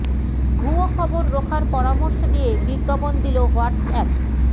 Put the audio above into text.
ভুয়ো খবর রোখার পরামর্শ দিয়ে বিজ্ঞাপন দিল হোয়াটস অ্যাপ